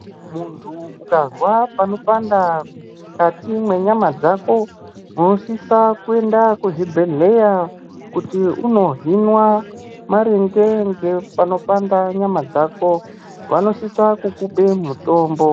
Muntu ukazwa panopanda mukati mwenyama dzako unosisa kuenda kuzvibhedhleya kuti unohinwa maringe ngepanopanda nyama dzako, vanosisa kukupe mutombo.